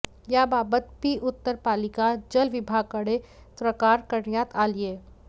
याबाबत पी उत्तर पालिका जल विभागाकडे तक्रार करण्यात आलीय